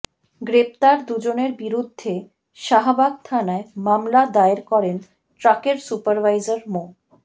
গ্রেপ্তার দুজনের বিরুদ্ধে শাহবাগ থানায় মামলা দায়ের করেন ট্রাকের সুপারভাইজার মো